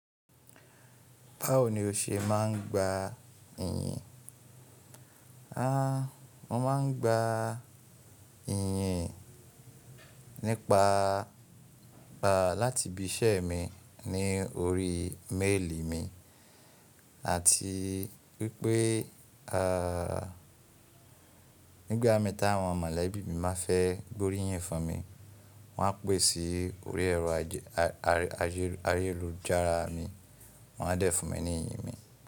Báwo ni o ṣe máa ń gba iyín? Háà, mo máa ń gba iyín nípa, pa láti ibi iṣẹ́ mi ní orí méèlì mi àti wipé, ààh, nígbà mii ta àwọn mọ̀lẹ́bí mi má fẹ́ gborí yín fún mi, wọ́n á pè sí orí ẹ̀rọ ayélujára mi, wọ́n a dé fún mi ní iyín mi.